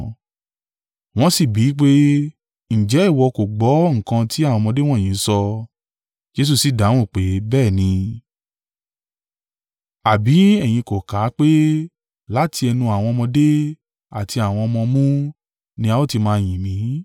Wọ́n sì bí i pé, “Ǹjẹ́ ìwọ gbọ́ nǹkan tí àwọn ọmọdé wọ̀nyí ń sọ?” Jesu sí dáhùn pé, “Bẹ́ẹ̀ ni, àbí ẹ̀yin kò kà á pé, “ ‘Láti ẹnu àwọn ọmọdé àti àwọn ọmọ ọmú, ni a ó ti máa yìn mí’?”